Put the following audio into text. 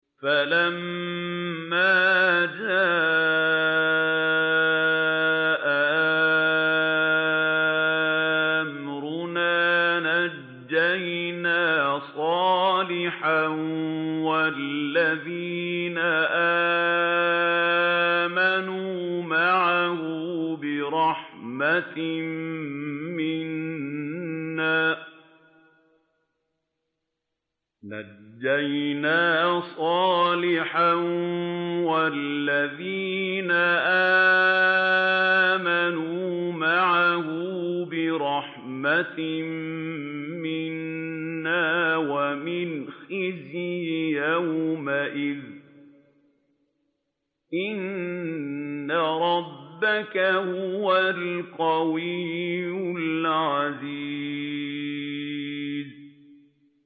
فَلَمَّا جَاءَ أَمْرُنَا نَجَّيْنَا صَالِحًا وَالَّذِينَ آمَنُوا مَعَهُ بِرَحْمَةٍ مِّنَّا وَمِنْ خِزْيِ يَوْمِئِذٍ ۗ إِنَّ رَبَّكَ هُوَ الْقَوِيُّ الْعَزِيزُ